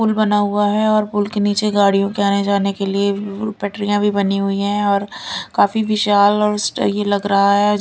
पुल बना हुआ है और पुल के नीचे गाड़ियों के आने जाने के लिए पटरियां भी बनी हुई है और काफी विशाल और सही लग रहा है।